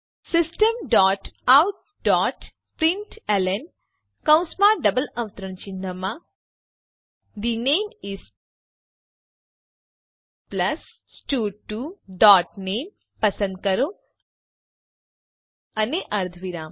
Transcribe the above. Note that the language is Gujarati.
system dot out dot println કૌંસમાં ડબલ અવતરણ ચિહ્નમાં થે નામે ઇસ પ્લસ સ્ટડ2 ડોટ નામે પસંદ કરો અને અર્ધવિરામ